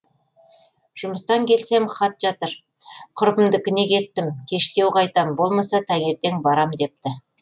жұмыстан келсем хат жатыр құрбымдікіне кеттім кештеу қайтам болмаса таңертең барам депті